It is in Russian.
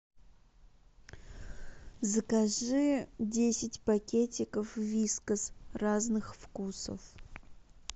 закажи десять пакетиков вискас разных вкусов